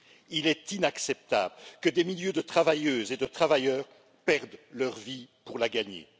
Il est inacceptable que des milliers de travailleuses et de travailleurs perdent leur vie pour la gagner.